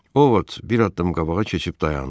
Ovod bir addım qabağa keçib dayandı.